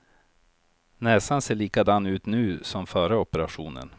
Näsan ser likadan ut nu som före operationen.